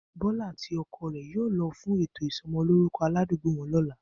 Bó̩lá àti o̩ko̩ rè̩ yóò lo̩ fún ètò ìso̩mo̩lóruko̩ aládùágbò wo̩n ló̩la